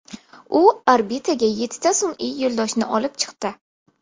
U orbitaga yettita sun’iy yo‘ldoshni olib chiqdi.